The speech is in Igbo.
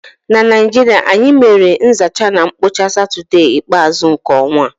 N'Naịjirịa, anyị mere nzacha na mkpocha satọdee ikpeazu nke ọnwa